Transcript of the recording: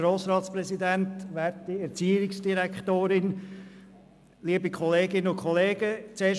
Als Erstes gebe ich meine Interessenbindung bekannt: